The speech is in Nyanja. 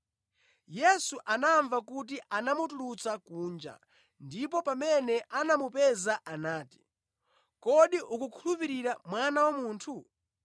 Yesu anamva kuti anamutulutsa kunja ndipo pamene anamupeza anati, “Kodi ukukhulupirira Mwana wa Munthu?”